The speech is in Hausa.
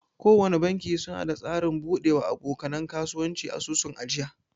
Kowana banki suna da tsarin bude wa aboka nan kasuwanci asusun ajiya.